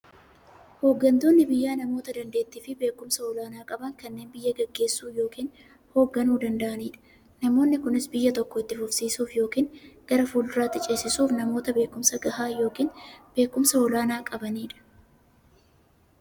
Hooggantoonni biyyaa namoota daanteettiifi beekumsa olaanaa qaban, kanneen biyya gaggeessuu yookiin hoogganuu danda'aniidha. Namoonni kunis, biyya tokko itti fufsiisuuf yookiin gara fuulduraatti ceesisuuf, namoota beekumsa gahaa yookiin beekumsa olaanaa qabaniidha.